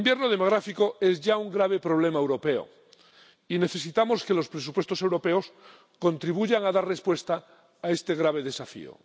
El invierno demográfico es ya un grave problema europeo, y necesitamos que los presupuestos europeos contribuyan a dar respuesta a este grave desafío.